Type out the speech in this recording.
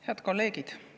Head kolleegid!